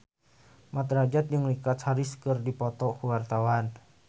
Mat Drajat jeung Richard Harris keur dipoto ku wartawan